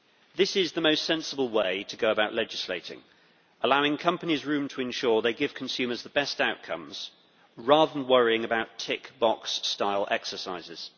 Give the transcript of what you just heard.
This is the most sensible way to go about legislating allowing companies room to ensure they give consumers the best outcomes rather than worrying about tick box style exercises.